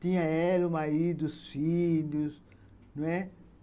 Tinha ela, o marido, os filhos, né